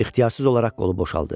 İxtiyarsız olaraq qolu boşaldı.